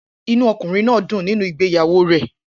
Inú ọkùnrin náà dùn nínú ìgbéyàwó rẹ̀